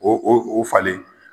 O o o falen.